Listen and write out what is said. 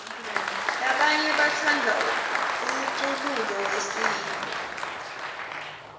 labanye batsandza umcululo wesintfu